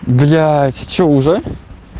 блять что уже